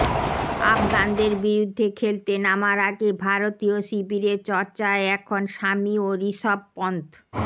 আফগানদের বিরুদ্ধে খেলতে নামার আগে ভারতীয় শিবিরে চর্চায় এখন সামি ও ঋষভ পন্থ